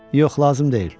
Yox, lazım deyil.